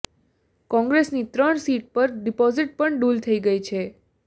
કોંગ્રેસની ત્રણ સીટ પર ડિપોઝીટ પણ ડૂલ થઈ છે